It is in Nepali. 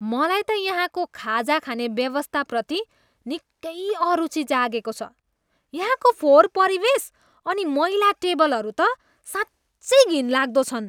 मलाई त यहाँको खाजा खाने व्यवस्थाप्रति निकै अरुचि जागेको छ, यहाँको फोहोर परिवेश अनि मैला टेबलहरू त साँच्चै घिनलाग्दो छन्।